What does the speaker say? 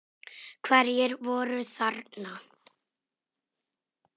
Hverjir voru þarna?